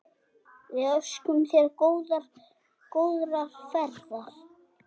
Við óskum þér góðrar ferðar.